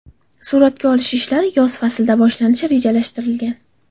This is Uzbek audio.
Suratga olish ishlari yoz faslida boshlanishi rejalashtirilgan.